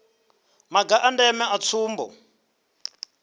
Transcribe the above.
maga a ndeme a tsumbo